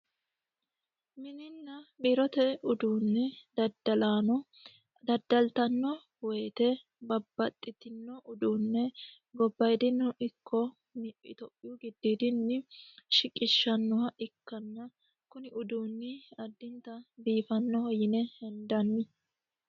Mininna biirote uduunni daddalaano daddaltanno woyiite babbaxino uduunne gobayiidino ikko itiyophiyu gidoyiidi shiqishannoha ikkanna kuni uduunni addinta biifanoho yine hendanni.